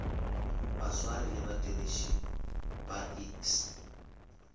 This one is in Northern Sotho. baswari le badiriši ba iks